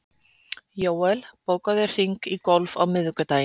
Jóel, bókaðu hring í golf á miðvikudaginn.